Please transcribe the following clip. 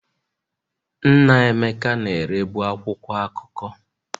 Nna Emeka na-erebu akwụkwọ akụkọ.